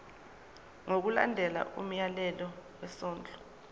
ngokulandela umyalelo wesondlo